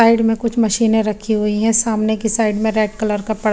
side में कुछ मशीन रखी हुई है सामने की साइड में रेड कलर का पर्दा --